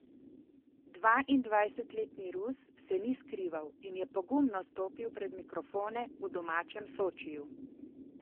Dvaindvajsetletni Rus se ni skrival in je pogumno stopil pred mikrofone v domačem Sočiju.